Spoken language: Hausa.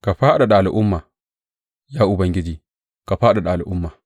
Ka fadada al’umma, ya Ubangiji; ka fadada al’umma.